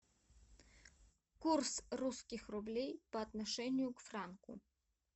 курс русских рублей по отношению к франку